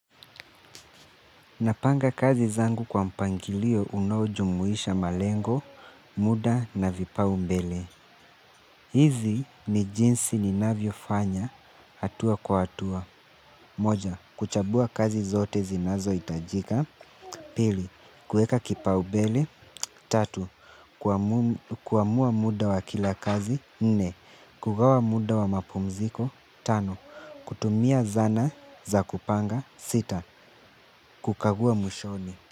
Napanga kazi zangu kwa mpangilio unaojumuisha malengo, muda na vipaumbele. Hizi ni jinsi ni navyo fanya hatua kwa hatua. Moja, kuchambua kazi zote zinazo hitajika. Pili, kuweka kipaumbele. Tatu kuamua muda wa kila kazi. Nne, kugawa muda wa mapumziko. Tano, kutumia zana za kupanga. Sita kukagua mwishoni.